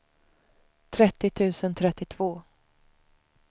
trettio tusen trettiotvå